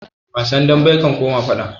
Wasan dambe ya koma faɗa